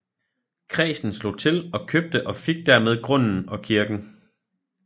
Kredsen slog til og købte og fik dermed grunden og kirken